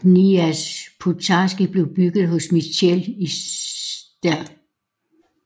Kniaz Pozharsky blev bygget hos Mitchell i St